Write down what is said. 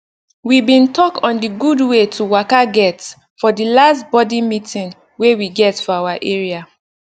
we bin talk on d gud wey to waka get for the last body meeting wey we get for our area